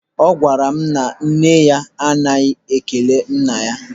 Ọ gwara m na nne ya anaghị ekele nna ya.